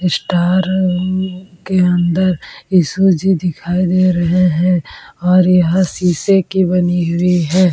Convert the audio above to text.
Star उम्म के अंदर यीशु जी दिखाई दे रहे है और यह शीशे की बनी हुई है।